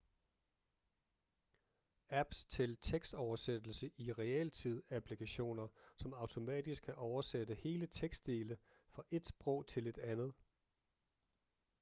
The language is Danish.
apps til tekstoversættelse i realtid applikationer som automatisk kan oversætte hele tekstdele fra ét sprog til et andet